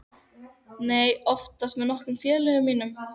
Nei, oftast með nokkrum félögum mínum.